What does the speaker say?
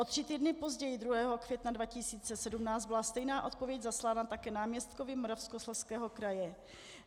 O tři týdny později 2. května 2017 byla stejná odpověď zaslána také náměstkovi Moravskoslezského kraje.